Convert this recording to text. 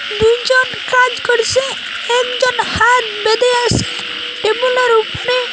দু'জন কাজ করছে একজন হাত বেঁধে আছে টেবিলে র উপরে --